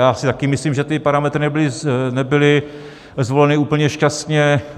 Já si také myslím, že ty parametry nebyly zvoleny úplně šťastně.